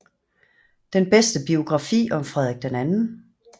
Den bedste biografi om Frederik 2